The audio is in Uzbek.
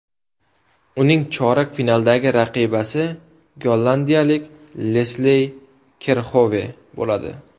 Uning chorak finaldagi raqibasi gollandiyalik Lesley Kerxove bo‘ladi.